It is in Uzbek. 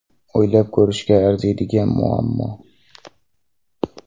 O‘ylab ko‘rishga arziydigan muammo.